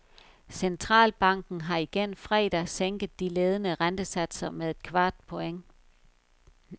Centralbanken har igen fredag sænket de ledende rentesatser med et kvart point.